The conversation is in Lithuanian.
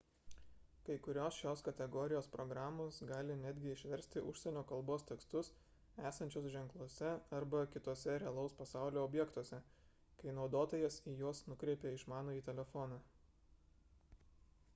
kai kurios šios kategorijos programos gali netgi išversti užsienio kalbos tekstus esančius ženkluose arba kituose realaus pasaulio objektuose kai naudotojas į juos nukreipia išmanųjį telefoną